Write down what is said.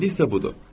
İndi isə budur.